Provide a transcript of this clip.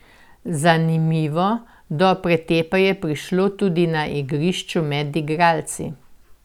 Zanimivo, do pretepa je prišlo tudi na igrišču med igralci.